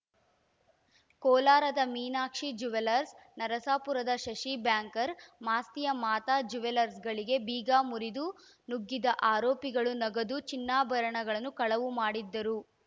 ಕೋಲಾರದ ಮೀನಾಕ್ಷಿ ಜುವೆಲರ್ಸ್ ನರಸಾಪುರದ ಶಶಿ ಬ್ಯಾಂಕರ್ ಮಾಸ್ತಿಯ ಮಾತಾ ಜುವೆಲರ್ಸ್ಗಳಿಗೆ ಬೀಗ ಮುರಿದು ನುಗ್ಗಿದ ಆರೋಪಿಗಳು ನಗದು ಚಿನ್ನಾಭರಣಗಳನ್ನು ಕಳವು ಮಾಡಿದ್ದರು